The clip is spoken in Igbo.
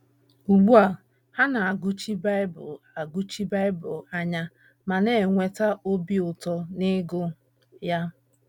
Ugbu a, ha na - agụchi Bible - agụchi Bible anya ma na - enweta obi ụtọ n’ịgụ ya.